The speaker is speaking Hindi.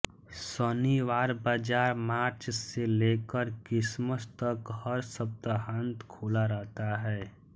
शनिवार बाजार मार्च से लेकर क्रिसमस तक हर सप्ताहांत खुला रहता है